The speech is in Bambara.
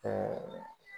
Ɛɛ